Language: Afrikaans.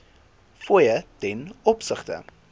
fooie ten opsigte